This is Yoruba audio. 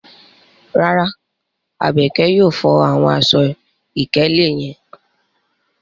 Rara, Abeke yóò fo awọn aṣọ-ikele yẹn